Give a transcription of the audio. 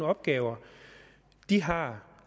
opgaver de har